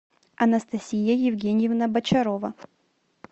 анастасия евгеньевна бочарова